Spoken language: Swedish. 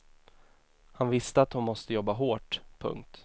Han visste att hon måste jobba hårt. punkt